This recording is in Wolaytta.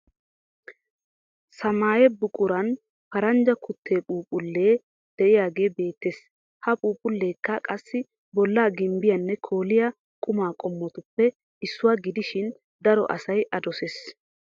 Samaayye buquran paranjja kuttee phuuphlle deyage beettes. Ha phuuphulleekka qassi bolla gimbbiyanne kooliy quma qommotuppe issuwa gidishin daro asay a doses.